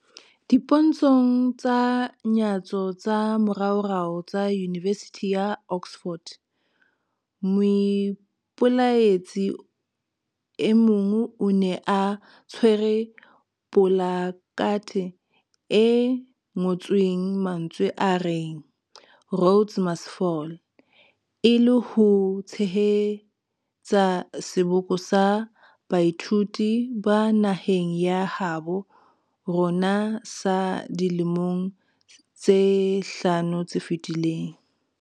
Dipontshong tsa nyatso tsa moraorao tsa Yunivesithi ya Oxford, moipelaetsi e mong o ne a tshwere polakathe e ngotsweng mantswe a reng 'Rhodes must Fall', e le ho tshehetsa seboko sa baithuti ba naheng ya habo rona sa dilemong tse hlano tse fetileng.